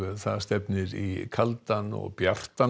það stefnir í kaldan og bjartan